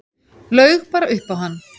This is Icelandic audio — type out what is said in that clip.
Laug bara upp á hann.